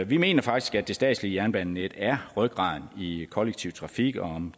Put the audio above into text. vi mener faktisk at det statslige jernbanenet er rygraden i kollektive trafik og